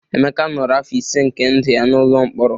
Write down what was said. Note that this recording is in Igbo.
Emeka nọrọ afọ ise nke ndụ ya n'ụlọ mkpọrọ